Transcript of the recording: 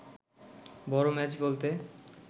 বড় ম্যাচ বলতে